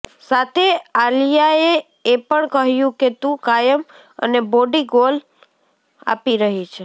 સાથે આલિયાએ એ પણ કહ્યું કે તું કાયમ અને બોડી ગોલ આપી રહી છે